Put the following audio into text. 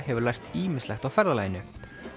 hefur lært ýmislegt á ferðalaginu